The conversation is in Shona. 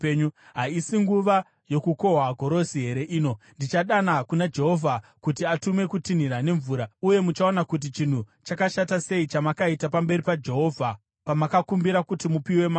Haisi nguva yokukohwa gorosi here ino? Ndichadana kuna Jehovha kuti atume kutinhira nemvura. Uye muchaona kuti chinhu chakashata sei chamakaita pamberi paJehovha pamakakumbira kuti mupiwe mambo.”